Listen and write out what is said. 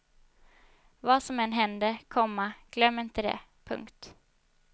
Vad som än händer, komma glöm inte det. punkt